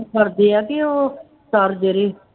ਕਰਦੇ ਆ ਕਿ ਉਹ sir ਜਿਹੜੇ